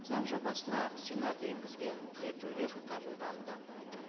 заң жобасына сенат енгізген түзетулер қабылданды